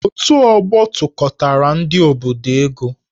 Otù ọgbọ tụkọtaara ndị obodo ego